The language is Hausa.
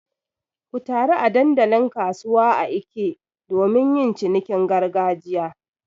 Ku taru a dandalin kasuwa a Eke domin yin cinikin gargajiya.